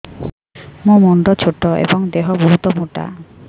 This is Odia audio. ମୋ ମୁଣ୍ଡ ଛୋଟ ଏଵଂ ଦେହ ବହୁତ ମୋଟା